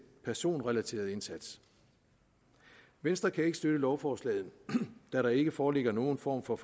personrelaterede indsats venstre kan ikke støtte lovforslaget da der ikke foreligger nogen form for